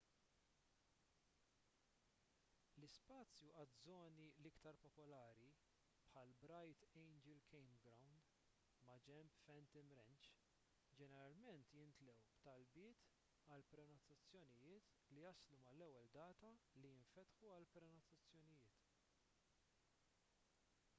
l-ispazju għaż-żoni l-iktar popolari bħall-bright angel campground maġenb phantom ranch ġeneralment jimtlew b'talbiet għal prenotazzonijiet li jaslu mal-ewwel data li jinfetħu għall-prenotazzjonijiet